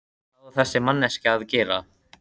Hvað á þessi manneskja að gera?